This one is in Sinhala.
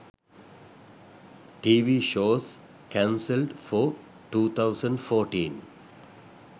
tv shows cancelled for 2014